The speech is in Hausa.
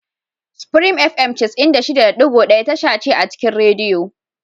Supreme Fm cas'in da shida da ɗigo daya tasha ce a cikin rediyo.